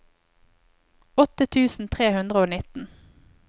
åtte tusen tre hundre og nitten